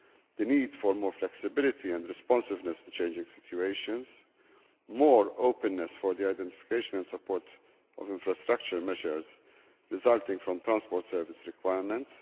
the need for more flexibility and responsiveness to changing situations and more openness for the identification and support of infrastructure measures resulting for transport service requirements